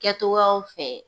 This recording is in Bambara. Kɛ cogoyaw fɛ